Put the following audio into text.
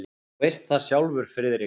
Þú veist það sjálfur, Friðrik.